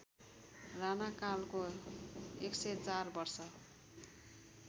राणाकालको १०४ वर्ष